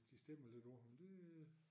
De stemmer lidt på ham det